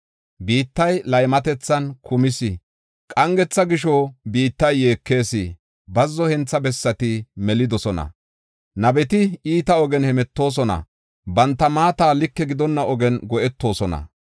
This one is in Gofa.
Biittay laymatethan kumis. Qangetha gisho, biittay yeekees; bazzo hentha bessati melidosona. Nabeti iita ogen hemetoosona; banta maata like gidonna ogen go7etoosona.